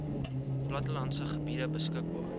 plattelandse gebiede beskikbaar